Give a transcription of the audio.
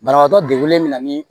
Banabaatɔ degunen bɛ na ni